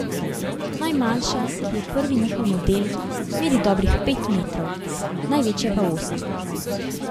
Najmanjša, ki je prvi njihov model, meri dobrih pet metrov, največja pa osem.